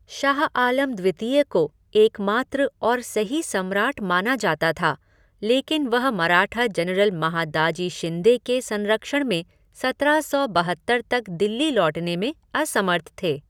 शाह आलम द्वितीय को एकमात्र और सही सम्राट माना जाता था, लेकिन वह मराठा जनरल महादाजी शिंदे के संरक्षण में सत्रह सौ बहत्तर तक दिल्ली लौटने में असमर्थ थे।